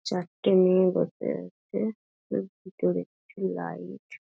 চারটে মেয়ে বসে আছে এর ভেতরে একটি লাইট ।